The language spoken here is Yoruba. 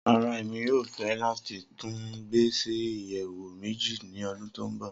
Rara, Emi yoo fẹ lati tun gbe si iyẹwu meji ni ọdun to nbọ.